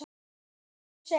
Í sögunni segir